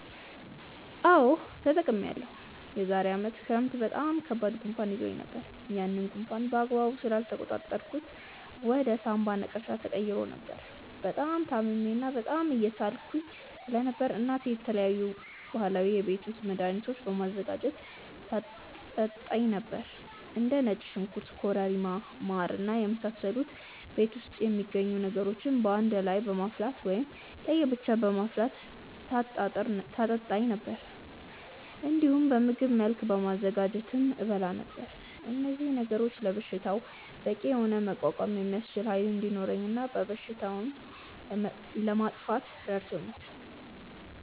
አዎ ተጠቅሜያለሁ። የዛሬ አመት ክረምት በጣም ከባድ ጉንፋን ይዞኝ ነበር። ያንን ጉንፋን በአግባቡ ስላልተቆጣጠርኩት ወደ ሳምባ ነቀርሳ ተቀይሮ ነበር። በጣም ታምሜ እና በጣም እየሳልኩ ስለነበር እናቴ የተለያዩ ባህላዊ የቤት ውስጥ መድሀኒቶችን በማዘጋጀት ታጠጣኝ ነበር። እንደ ነጭ ሽንኩርት ኮረሪማ ማር እና የመሳሰሉ ቤት ውስጥ የሚገኙ ነገሮችን በአንድ ላይ በማፍላት ወይም ለየ ብቻ በማፍላት ታጠጣኝ ነበር። እንዲሁም በምግብ መልክ በማዘጋጀትም እበላ ነበር። እነዚህ ነገሮች ለበሽታው በቂ የሆነ መቋቋም የሚያስችል ኃይል እንዲኖረኝ እና በሽታውንም ለማጥፋት ረድቶኛል።